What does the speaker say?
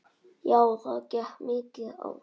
Já það gekk mikið á.